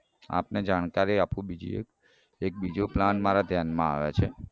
આપને જાણકારી આપુ બીજી એક એક બીજો plan મારા ધ્યાનમાં આવે છે